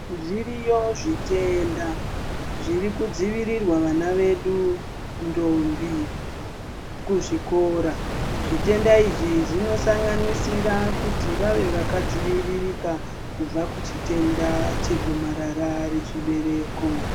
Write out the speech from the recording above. Zviriyo zvitenda zvirikudzivirirwa vana vedu ndombi kuzvikora zvitenda izvi zvinosanganisira kuti vave vakadziviririka kubva kuchitenda chegomarara rechibereko.